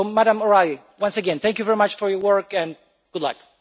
Ms O'Reilly, once again, thank you very much for your work, and good luck.